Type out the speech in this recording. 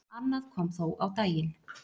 Annað kom þó á daginn.